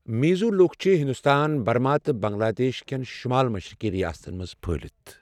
میزو لوک چھِ ہندوستان، برما تہٕ بنگلہ دیش کٮ۪ن شمال مشرقی ریاستن منٛز پھٕہلِتھ۔